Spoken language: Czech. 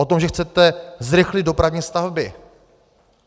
O tom, že chcete zrychlit dopravní stavby.